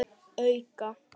En nálægt því.